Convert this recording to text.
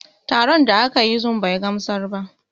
Taron da aka yi zum bai gamsar ba